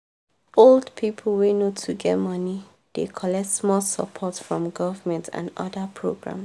old people wey no too get money dey collect small support from government and other programs.